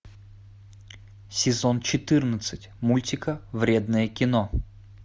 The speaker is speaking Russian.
сезон четырнадцать мультика вредное кино